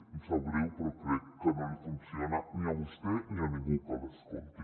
em sap greu però crec que no li funciona ni a vostè ni a ningú que l’escolti